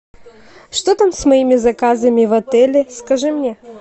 что там с моими заказами в отеле скажи мне